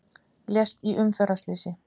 Lést í umferðarslysi